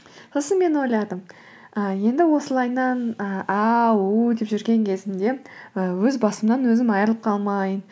сосын мен ойладым і енді осылайынан і а у деп жүрген кезімде і өз басымнан өзім айырылып қалмайын